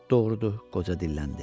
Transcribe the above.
Doğrudur, qoca dilləndi.